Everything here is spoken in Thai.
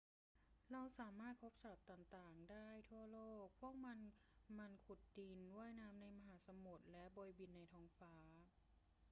เราสามารถพบสัตว์ต่าง ๆ ได้ทั่วโลก พวกมันขุดดิน ว่ายน้ำในมหาสมุทร และโบยบินในท้องฟ้า